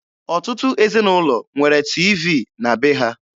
Ọtụtụ ezinụlọ nwere tiivii na be ha.